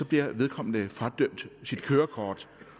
bliver vedkommende fradømt sit kørekort